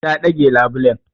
Ta ɗage labulen.